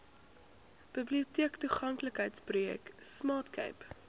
biblioteektoeganklikheidsprojek smart cape